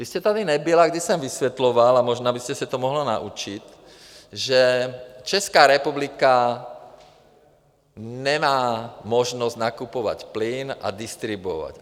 Vy jste tady nebyla, když jsem vysvětloval, a možná byste se to mohla naučit, že Česká republika nemá možnost nakupovat plyn a distribuovat.